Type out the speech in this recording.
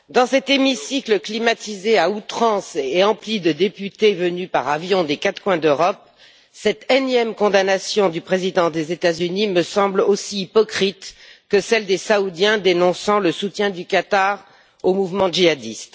Madame la Présidente, dans cet hémicycle climatisé à outrance et empli de députés venus par avion des quatre coins de l'Europe, cette énième condamnation du président des États Unis me semble aussi hypocrite que celle des Saoudiens dénonçant le soutien du Qatar au mouvement djihadiste.